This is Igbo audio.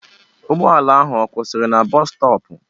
Ụgbọala ahụ ọ kwụsịrị na bọs stọọpụ?